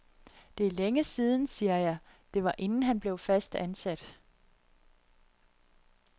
Det er længe siden, siger jeg, det var inden han blev fast ansat.